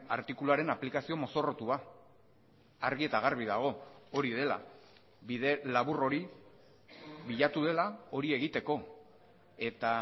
artikuluaren aplikazio mozorrotua argi eta garbi dago hori dela bide labur hori bilatu dela hori egiteko eta